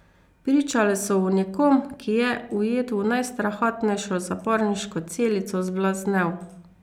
Pričale so o nekom, ki je, ujet v najstrahotnejšo zaporniško celico, zblaznel.